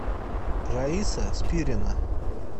раиса спирина